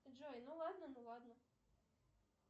джой ну ладно ну ладно